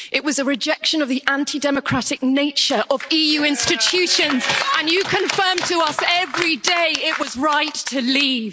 It was a rejection of the anti-democratic nature of EU institutions and you confirm to us every day it was right to leave.